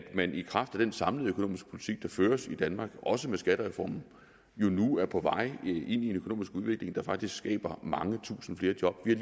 at man i kraft af den samlede økonomiske politik der føres i danmark også med skattereformen jo nu er på vej ind i en økonomisk udvikling der faktisk skaber mange tusinde flere job vi